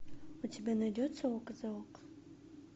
у тебя найдется око за око